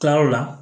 Tilayɔrɔ la